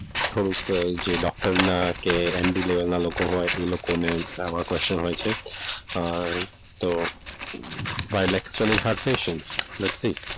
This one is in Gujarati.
થોડુંક કે જે ડોક્ટરના કે એમડી level ના લોકો હોય એ લોકોને આવા ક્વેશ્ચન હોય છે તો વ્યક્તિ,